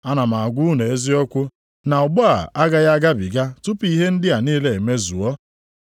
Ana m agwa unu eziokwu na ọgbọ a agaghị agabiga tupu ihe ndị a niile emezuo.